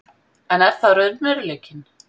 En er það raunveruleikinn?